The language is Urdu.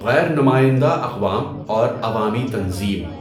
غیر نمائندہ اقوام اور عوامی تنظیم